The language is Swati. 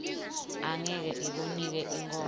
angeke ikunike inkhomba